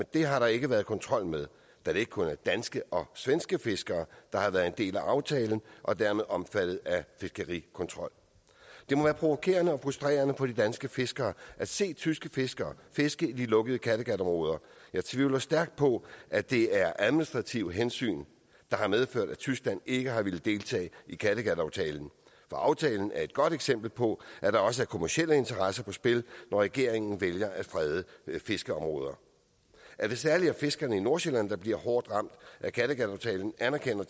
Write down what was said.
det har der ikke været kontrol med da det kun er danske og svenske fiskere der har været en del af aftalen og dermed været omfattet af fiskerikontrol det må være provokerende og frustrerende for de danske fiskere at se tyske fiskere fiske i de lukkede kattegatområder jeg tvivler stærkt på at det er administrative hensyn der har medført at tyskland ikke har villet deltage i kattegataftalen for aftalen er et godt eksempel på at der også er kommercielle interesser på spil når regeringen vælger at frede fiskeområder at det særlig er fiskerne i nordsjælland der bliver hårdt ramt af kattegataftalen anerkender